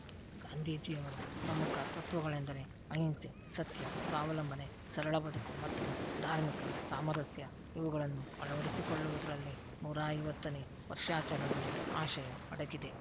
ಗಾಂಧೀಜಿಯವರ ಪ್ರಮುಖ ತತ್ವಗಳೆಂದರೆ ಅಹಿಂಸೆ ಸತ್ಯ ಸ್ವಾವಲಂಬನೆ ಸರಳ ಬದುಕು ಮತ್ತು ಧಾರ್ಮಿಕ ಸಾಮರಸ್ಯ ಇವುಗಳನ್ನು ಅಳವಡಿಸಿಕೊಳ್ಳುವುದರಲ್ಲಿ ನೂರ ಐವತ್ತನೇ ವರ್ಷಾಚರಣೆಯ ಆಶಯ ಅಡಗಿದೆ